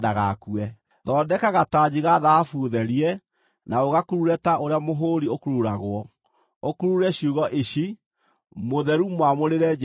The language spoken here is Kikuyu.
“Thondeka gatanji ga thahabu therie, na ũgakurure ta ũrĩa mũhũũri ũkururagwo, ũkurure ciugo ici: MŨTHERU MWAMŨRĨRE JEHOVA.